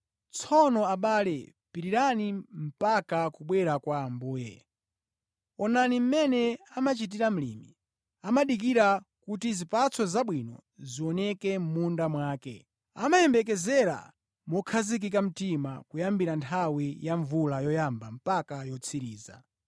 Tsono abale, pirirani mpaka kubwera kwa Ambuye. Onani mmene amachitira mlimi. Amadikirira kuti zipatso zabwino zioneke mʼmunda mwake. Amayembekezera mokhazikika mtima kuyambira nthawi ya mvula yoyamba mpaka yotsiriza.